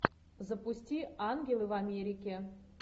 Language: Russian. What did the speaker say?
запусти ангелы в америке